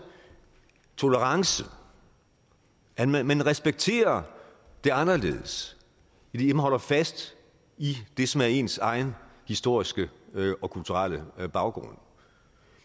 tolerance at man respekterer det anderledes idet man holder fast i det som er ens egen historiske og kulturelle baggrund